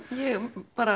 ég